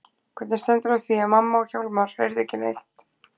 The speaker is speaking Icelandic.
Hvernig stendur á því að mamma og Hjálmar heyrðu ekki neitt?